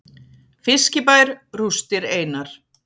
Fiskibær rústir einar